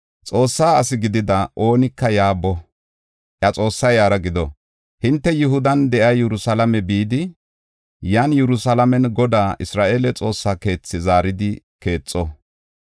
Xoossa asi gidida oonika yaa boo; iya Xoossay iyara gido! Hinte Yihudan de7iya Yerusalaame bidi, yan Yerusalaamen Godaa, Isra7eele Xoossaa keethaa zaaridi keexo.